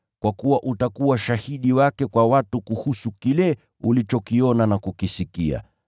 Kwa kuwa utakuwa shahidi wake kwa watu kuhusu kile ulichokiona na kukisikia.